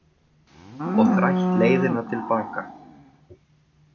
Og þrætt leiðina til baka